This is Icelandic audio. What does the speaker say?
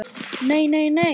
Nei, nei, nei!